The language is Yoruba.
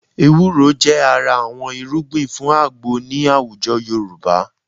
Ewúro jẹ́ ara àwọn irúgbìn fún àgbo ní àwùjọ Yorùbá